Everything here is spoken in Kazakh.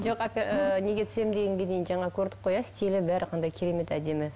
жоқ ы неге түсемін дегенге дейін жаңа көрдік қой иә стилі бәрі қандай керемет әдемі